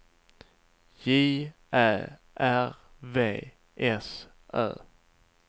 J Ä R V S Ö